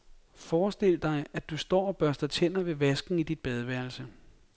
Forestil dig, at du står og børster tænder ved vasken i dit badeværelse.